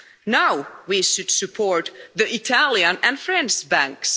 Now we should support the Italian and French banks.